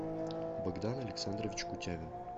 богдан александрович кутявин